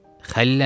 Xəlil əmioğlu.